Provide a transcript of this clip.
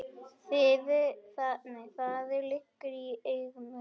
Það liggur í augum úti.